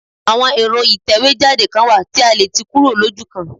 Àwọn èro ìtẹ̀wé jáde kan wà tí a letì kúrò lójúkan